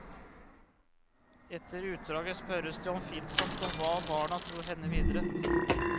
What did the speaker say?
Etter utdraget spørres det oppfinnsomt om hva barna tror hender videre.